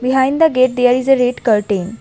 Behind the gate there is a red curtain.